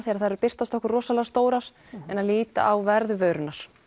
þegar þær birtast okkur rosalega stórar en að líta á verð vörunnar